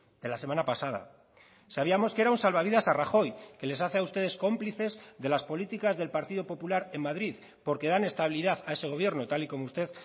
de la semana pasada sabíamos que era un salvavidas a rajoy que les hace a ustedes cómplices de las políticas del partido popular en madrid porque dan estabilidad a ese gobierno tal y como usted